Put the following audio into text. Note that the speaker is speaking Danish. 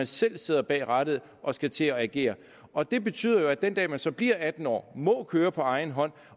selv sidder bag rattet og skal til at agere og det betyder jo at den dag man så bliver atten år og må køre på egen hånd